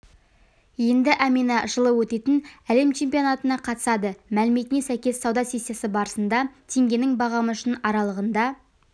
енді әмина жылы өтетін әлем чемпионатына қатысады мәліметіне сәйкес сауда сессиясы барысында теңгенің бағамы үшін аралығында